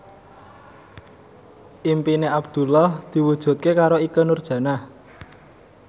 impine Abdullah diwujudke karo Ikke Nurjanah